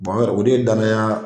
o de ye danaya